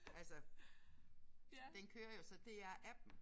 Altså den kører jo så DR appen